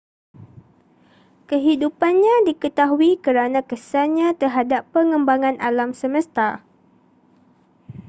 kehidupannnya diketahui kerana kesannya terhadap pengembangan alam semesta